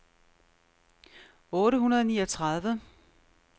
otte hundrede og niogtredive